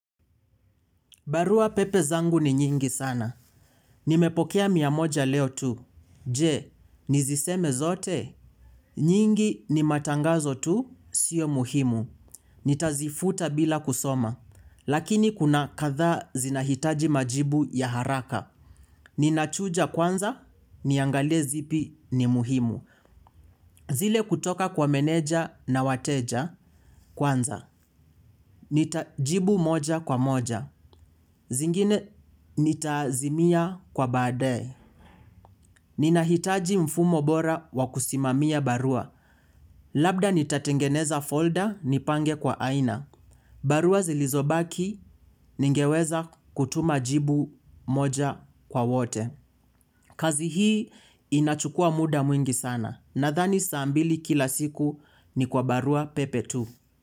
Barua pepe zangu ni nyingi sana. Nimepokea mia moja leo tu. Je, niziseme zote. Nyingi ni matangazo tu, sio muhimu. Nitazifuta bila kusoma. Lakini kuna katha zinahitaji majibu ya haraka. Ninachuja kwanza, niangalie zipi ni muhimu. Zile kutoka kwa meneja na wateja kwanza. Nita jibu moja kwa moja. Zingine nitazimia kwa baadaye. Ninahitaji mfumo bora wakusimamia barua. Labda nitatengeneza folder nipange kwa aina. Barua zilizobaki ningeweza kutuma jibu moja kwa wote. Kazi hii inachukua muda mwingi sana. Nadhani saa mbili kila siku ni kwa barua pepe tu.